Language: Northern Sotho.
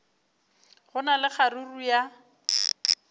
go na le kgaruru ya